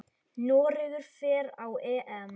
Noregur fer á EM.